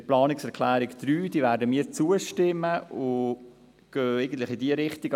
Der Planungserklärung 3 werden wir zustimmen und gehen eigentlich in diese Richtung.